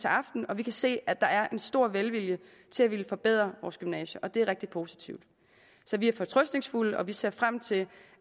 aften og vi kan se at der er en stor velvilje til at ville forbedre vores gymnasier og det er rigtig positivt så vi er fortrøstningsfulde og vi ser frem til